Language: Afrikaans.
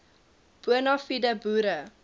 bona fide boere